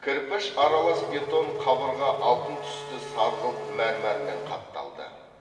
кірпіш аралас бетон қабырға алтын түсті сарғылт мәрмәрмен қапталды